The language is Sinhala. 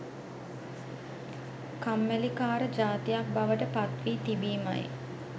කම්මැලි කාර ජාතියක් බවට පත් වී තිබීමයි.